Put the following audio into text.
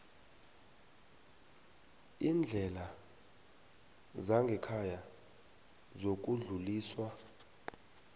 iindlela zangekhaya zokudluliswa